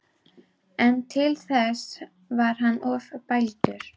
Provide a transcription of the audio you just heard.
En til þess var hann of bældur.